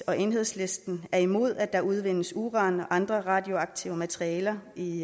og enhedslisten er imod at der udvindes uran og andre radioaktive materialer i